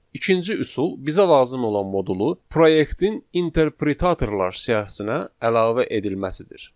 İkinci üsul bizə lazım olan modulu proyektin interpretatorlar siyahısına əlavə edilməsidir.